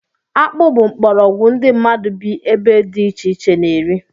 Akpụ bụ mkporoogwu ndị mmadụ bị ebe dị ichè iche na -eri